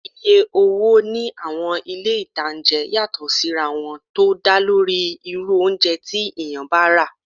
Iye owó ní àwọn ilé-ìtánjẹ yàtọ̀ sí ra wọn tó dálórí irú oúnjẹ tí èèyàn bá rà